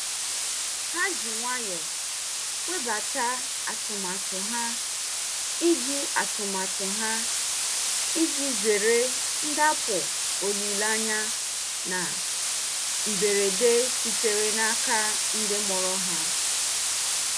Ha ji nwayọọ webata atụmatụ ha iji atụmatụ ha iji zere ndakpọ olileanya na mberede sitere n'aka ndị mụrụ ha.